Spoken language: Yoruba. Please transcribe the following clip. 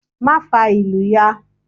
Má fa ìlù ya!